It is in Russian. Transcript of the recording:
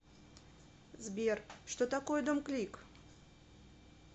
сбер что такое домклик